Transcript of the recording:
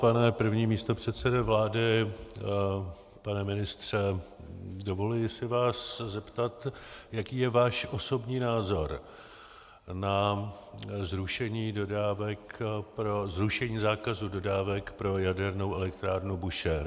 Pane první místopředsedo vlády, pane ministře, dovoluji si vás zeptat, jaký je váš osobní názor na zrušení zákazu dodávek pro jadernou elektrárnu Búšehr.